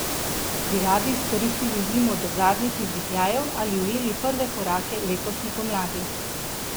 Bi radi izkoristili zimo do zadnjih izdihljajev ali ujeli prve korake letošnje pomladi?